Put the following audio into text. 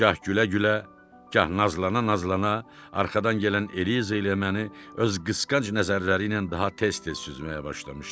Gah gülə-gülə, gah nazlana-nazlana arxadan gələn Eliza ilə məni öz qısqanc nəzərləri ilə daha tez-tez süzməyə başlamışdı.